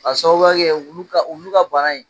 k'a sababuya kɛ wulu ka bana ye.